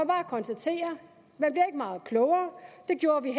bare konstatere at meget klogere det gjorde vi